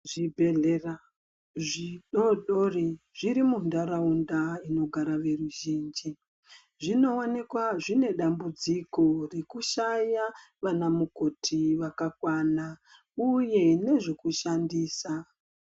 Zvibhedhlera zvidodori zviri mundaraunda inogara veruzhinji ,zvinowanikwa zvinedambudziko rekushaya vana mukoti vakakwana uye nezvekushandisa.